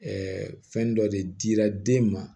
fɛn dɔ de dira den ma